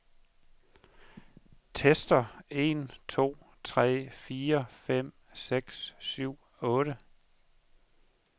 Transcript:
Tester en to tre fire fem seks syv otte.